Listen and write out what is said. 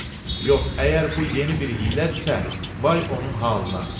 Yox, əgər bu yeni bir hiylədirsə, vay onun halına.